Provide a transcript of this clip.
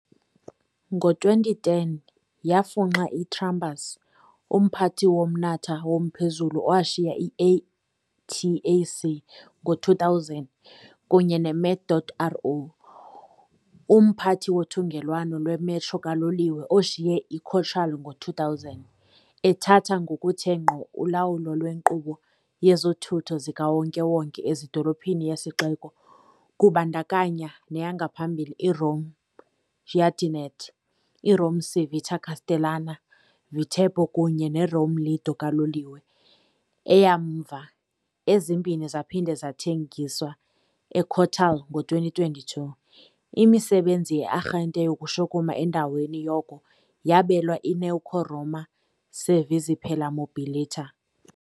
Ngo-2010 yafunxa iTrambus, umphathi womnatha womphezulu owashiya i-ATAC ngo-2000, kunye ne-Met. Ro. Umphathi wothungelwano lwe-metro kaloliwe oshiye i- Cotral ngo-2000, ethatha ngokuthe ngqo ulawulo lwenkqubo yezothutho zikawonke-wonke ezidolophini yesixeko kubandakanya neyangaphambili i-Rome-Giardinetti, i-Rome-Civita Castellana-Viterbo kunye ne-Rome-Lido kaloliwe, eyamva, ezimbini zaphinda zathengiswa eCotral ngo-2022, imisebenzi ye-arhente yokushukuma endaweni yoko yabelwa i-newco Roma Servizi per la Mobilità.